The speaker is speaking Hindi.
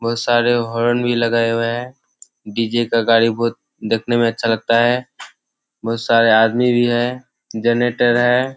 बहुत सारे हॉर्न भी लगाए हुए हैं डी.जे. का गाङी बहुत दिखने में अच्छा लगता है बहुत सारे आदमी भी है जनरेटर है।